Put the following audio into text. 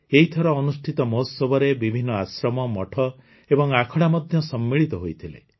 ଏହିଥର ଅନୁଷ୍ଠିତ ମହୋତ୍ସବରେ ବିଭିନ୍ନ ଆଶ୍ରମ ମଠ ଏବଂ ଆଖଡ଼ା ମଧ୍ୟ ସମ୍ମିଳିତ ହୋଇଥିଲେ